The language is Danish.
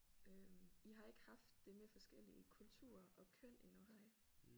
Øh I har ikke haft det med forskellige kulturer og køn endnu har I?